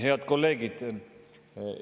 Head kolleegid!